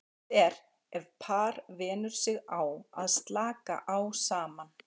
Best er ef par venur sig á að slaka á saman.